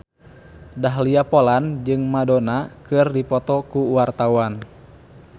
Dahlia Poland jeung Madonna keur dipoto ku wartawan